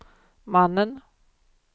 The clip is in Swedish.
mannen